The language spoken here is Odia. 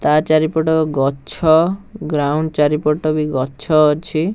ତା ଚାରିପଟ ଗଛ ଗ୍ରାଉଣ୍ଡ ଚାରିପଟ ବି ଗଛ ଅଛି।